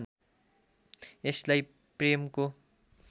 यसलाई प्रेमको